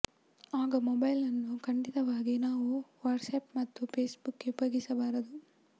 ಆಗ ಮೊಬೈಲನ್ನು ಖಂಡಿತವಾಗಿ ನಾವು ವಾಟ್ಸ್ ಆ್ಯಪ್ ಮತ್ತು ಫೇಸ್ಬುಕ್ಗೆ ಉಪಯೋಗಿಸಬಾರದು